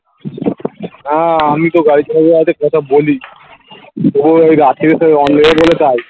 হ্যাঁ আমিতো গাড়ি চালাতে চালাতে কথা বলি তবুও ওই রাত্তিরে তো অন্ধকার বলে তাই